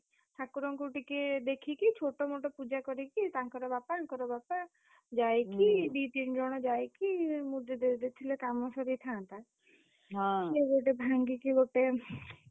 ଠାକୁରଙ୍କୁ ଟିକେ ଦେଖିକି ଛୋଟ ମୋଟ ପୂଜା କରିକି ତାଙ୍କର ବାପା ଆଙ୍କର ବାପା ଯାଇକି ଦି ତିନି ଜଣ ଯାଇ କି ମୁଦି ଦେଇଦେଇଥିଲେ କାମ ସରିଥାନ୍ତା। breath ଭାଙ୍ଗିକି ଗୋଟେ